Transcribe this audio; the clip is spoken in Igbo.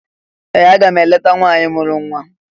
Ee! Aga m eleta nwaanyị mụrụ nwa.